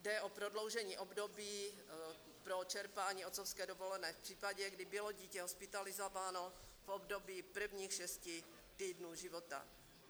Jde o prodloužení období pro čerpání otcovské dovolené v případě, kdy bylo dítě hospitalizováno v období prvních šesti týdnů života.